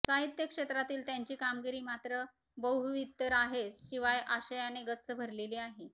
साहित्य क्षेत्रातील त्यांची कामगिरी मात्र बहुविध तर आहेच शिवाय आशयाने गच्च भरलेली आहे